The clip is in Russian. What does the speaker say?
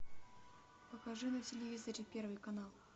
покажи на телевизоре первый канал